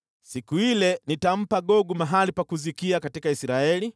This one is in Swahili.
“ ‘Siku ile nitampa Gogu mahali pa kuzikia katika Israeli,